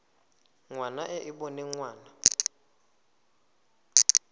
ngwana e e boneng ngwana